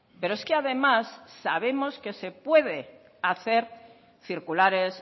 pero es que además sabemos que se puede hacer circulares